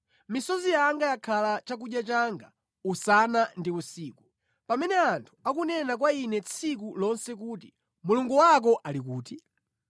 Misozi yanga yakhala chakudya changa usana ndi usiku, pamene anthu akunena kwa ine tsiku lonse kuti, “Mulungu wako ali kuti?”